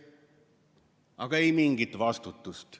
Aga ei mingit vastutust.